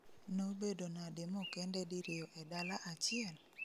Nobedo nade mokende diriyo e dala achiel?